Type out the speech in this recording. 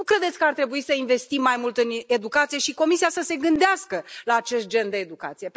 Nu credeți că ar trebui să investim mai mult în educație, și Comisia să se gândească la acest gen de educație?